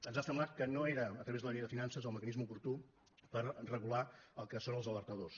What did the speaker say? ens ha semblat que no era a través de la llei de finances el mecanisme oportú per regular el que són els alertadors